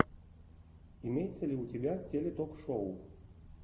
имеется ли у тебя телетокшоу